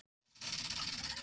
Á Djúpavogi, þú ert að skrökva